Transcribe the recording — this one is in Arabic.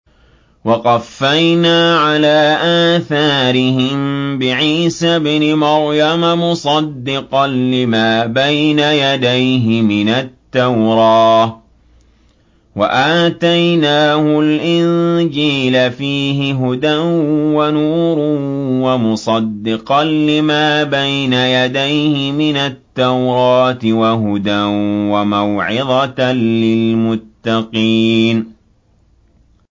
وَقَفَّيْنَا عَلَىٰ آثَارِهِم بِعِيسَى ابْنِ مَرْيَمَ مُصَدِّقًا لِّمَا بَيْنَ يَدَيْهِ مِنَ التَّوْرَاةِ ۖ وَآتَيْنَاهُ الْإِنجِيلَ فِيهِ هُدًى وَنُورٌ وَمُصَدِّقًا لِّمَا بَيْنَ يَدَيْهِ مِنَ التَّوْرَاةِ وَهُدًى وَمَوْعِظَةً لِّلْمُتَّقِينَ